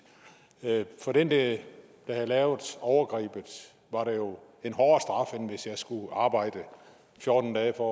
for den der havde lavet overgrebet var det jo en hårdere straf end hvis jeg skulle arbejde fjorten dage for